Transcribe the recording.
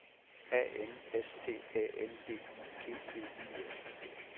A N S T Æ N D I G V I S